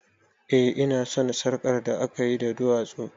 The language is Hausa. Eh ina son sarƙar da akayi da duwatsu